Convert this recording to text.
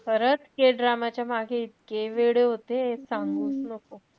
खरंच kdrama च्या मागे इतके वेडे होते. सांगूच नको.